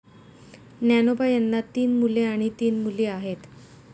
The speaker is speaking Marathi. ज्ञानोबा यांना तीन मुले आणि तीन मुली आहेत.